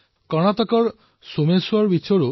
কৰ্ণাটকৰ সোমেশ্বৰ তীৰৰো এই অৱস্থাই আছিল